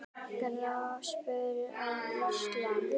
Gráspör á Íslandi